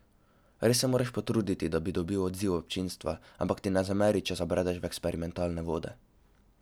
Res se moraš potruditi, da bi dobil odziv občinstva, ampak ti ne zameri, če zabredeš v eksperimentalne vode.